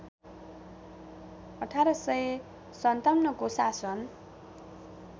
१८५७ को शासन